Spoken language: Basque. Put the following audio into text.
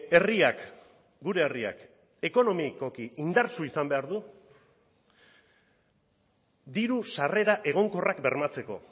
herriak gure herriak ekonomikoki indartsu izan behar du diru sarrera egonkorrak bermatzeko